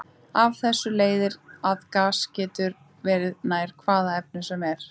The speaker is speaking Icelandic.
Af þessu leiðir að gas getur verið nær hvaða efni sem er.